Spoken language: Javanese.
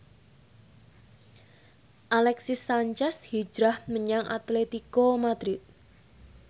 Alexis Sanchez hijrah menyang Atletico Madrid